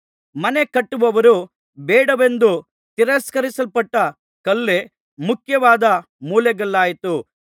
ಮನೆಕಟ್ಟುವವರು ಬೇಡವೆಂದು ತಿರಸ್ಕರಿಸಲ್ಪಟ್ಟ ಕಲ್ಲೇ ಮುಖ್ಯವಾದ ಮೂಲೆಗಲ್ಲಾಯಿತು